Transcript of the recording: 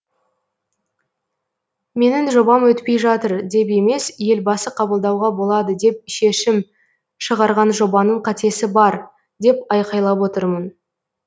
менің жобам өтпей жатыр деп емес елбасы қабылдауға болады деп шешім шығарған жобаның қатесі бар деп айқайлап отырмын